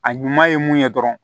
A ɲuman ye mun ye dɔrɔn